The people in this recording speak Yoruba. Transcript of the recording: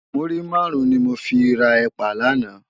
Múrí márùn ni mó fi rá èpá làná